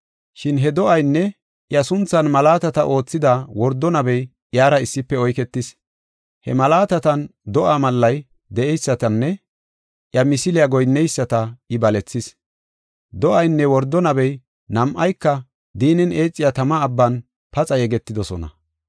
Shin he do7aynne iya sunthan malaatata oothida wordo nabey iyara issife oyketis. He malaatatan do7aa mallay de7eysatanne iya misiliya goyinneyisata I balethis. Do7aynne wordo nabey nam7ayka diinnen eexiya tama abban paxa yegetidosona.